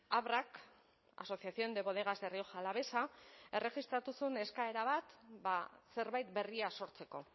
abrak asociación de bodegas de rioja alavesa erregistratu zuen eskaera bat ba zerbait berria sortzeko